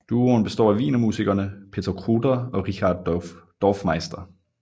Duoen består af Wiener musikerne Peter Kruder og Richard Dorfmeister